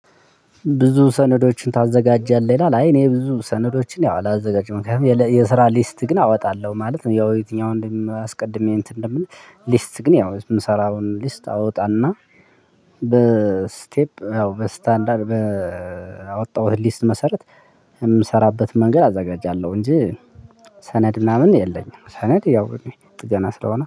ብዙ ሰነዶችን ታዘጋጃለህ? ይላል አይ እኔ ብዙ ሰነዶችን ያው አላዘጋጀም ከዛ የስራ ሊስት ግን አወጣለሁ ማለት ነው። ያው የትኛውን እንደምናስቀድም እንትን እንደምን ሊስት ግን ያው የምሰራውን ሊስት አወጣና በስቴፕ ያው በስታንዳርድ በአወጣሁት ሊስት መሰረት የምሰራበት መንገድ አዘጋጃለሁ እንጂ ሰነድ ምናምን የለኝም። ሰነድ ያው ጥገና ስለሆነ